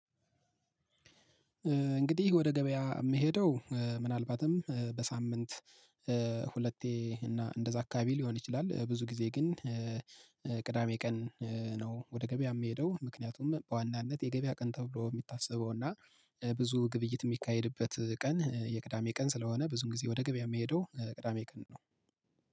እንግዲህ ወደ ገበያ የምሄደው ምናልባትም በሳምንት ሁለቴ እና እንደዛ አካባቢ ሊሆን ይችላል። ብዙ ጊዜ ግን ቅዳሜ ቀን ነው። ወደ ገበያ የምሄደው ምክንያቱም በዋናነት የገበያ ቀን ተብሎ የሚታሰበው እና ብዙ ግብይት የሚካሄድበት ቀን የቅዳሜ ቀን ስለሆነ ብዙም ጊዜ ወደ ገበያ የሚሄደው ቅዳሜ ቀን ነው